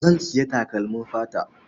Zan sayi takalmin fata.